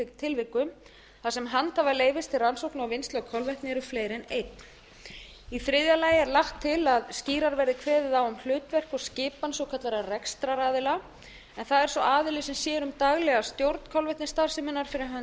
tilvikum þar sem handhafa leyfis rannsókna og vinnslu á kolvetni eru fleiri en einn í þriðja lagi er lagt til að skýrar verði kveðið á um hlutverk og skipan svokallaðra rekstraraðila en það er sá aðili sem sér um daglega stjórn kolvetnisstarfseminnar fyrir hönd